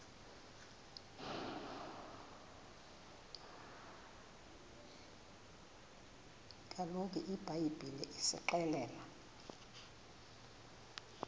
kaloku ibhayibhile isixelela